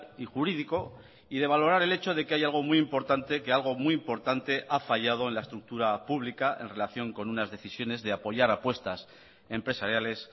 y jurídico y de valorar el hecho de que hay algo muy importante que algo muy importante ha fallado en la estructura pública en relación con unas decisiones de apoyar apuestas empresariales